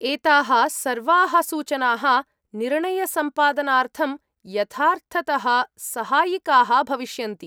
एताः सर्वाः सूचनाः निर्णयसम्पादनार्थं यथार्थतः सहायिकाः भविष्यन्ति।